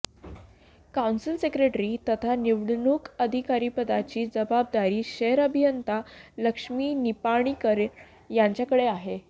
council secretary तथा निवडणूक अधिकारीपदाची जबाबदारी शहर अभियंत्या लक्ष्मी निपाणीकर यांच्याकडे आहे